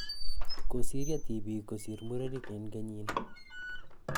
Kosiryo tipiik kosir murenik en kenyini